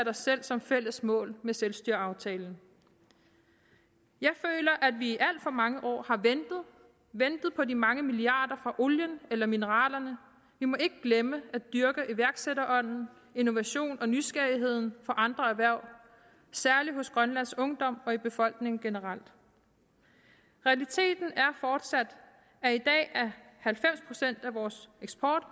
har sat som fælles mål med selvstyreaftalen jeg føler at vi i alt for mange år har ventet på de mange milliarder fra olien eller mineralerne vi må ikke glemme at dyrke iværksætterånden innovationen og nysgerrigheden for andre erhverv særlig hos grønlands ungdom og i befolkningen generelt realiteten er fortsat at halvfems procent af vores eksport